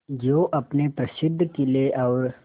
जो अपने प्रसिद्ध किले और